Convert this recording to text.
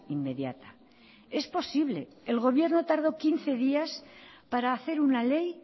inmediata es posible el gobierno tardó quince días para hacer una ley